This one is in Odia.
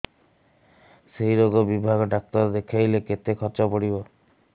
ସେଇ ରୋଗ ବିଭାଗ ଡ଼ାକ୍ତର ଦେଖେଇଲେ କେତେ ଖର୍ଚ୍ଚ ପଡିବ